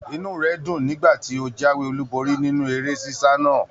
Inú rẹ dùn nígbà tí o jáwé olú borí nínú eré sisa náà.